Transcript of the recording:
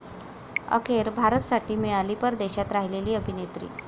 अखेर 'भारत'साठी मिळाली परदेशात राहिलेली अभिनेत्री!